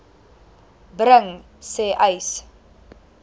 bring sê uys